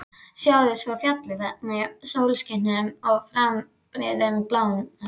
Sjáðu svo fjallið þarna í sólskininu með fannabreiður í blámanum.